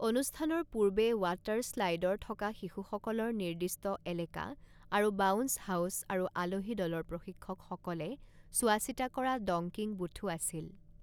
অনুষ্ঠানৰ পূৰ্বে ৱাটাৰ স্লাইডৰ থকা শিশুসকলৰ নিৰ্দিষ্ট এলেকা, আৰু বাউন্স হাউচ আৰু আলহী দলৰ প্ৰশিক্ষকসকলে চোৱাচিতা কৰা ডঙ্কিং বুথো আছিল।